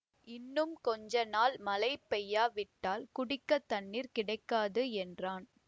இன்னும் கொஞ்சநாள் மழை பெய்யாவிட்டால் குடிக்கத் தண்ணீர் கிடைக்காது என்றான்